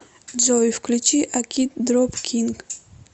джой включи акид дроп кинг